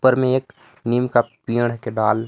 ऊपर में एक नीम का पेड़ के डाल --